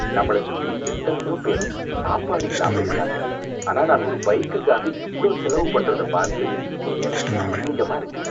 நம்மள சுத்தி எத்தனையோ பேர் சாப்பாடு இல்லாம இருக்காங்க, ஆனா நான் ஒரு பைக்குக்காக இவ்ளோ செலவு பண்றது பார்த்து எனக்கே அசிங்கமா இருக்கு